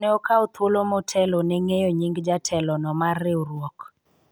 ne okawa thuolo motelo ne ng'eyo nying jatelo no mar riwruok